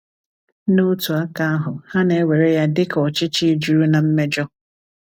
N’otu aka ahu, ha na-ewere ya dịka ọchịchị juru na mmejọ.